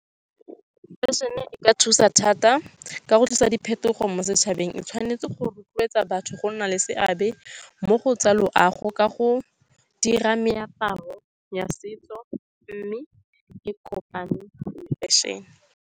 Fashion-e e ka thusa thata ka go tlisa diphetogo mo setšhabeng. E tshwanetse go rotloetsa batho go nna le seabe mo go tsa loago ka go dira meaparo ya setso mme e kopane le fashion-e.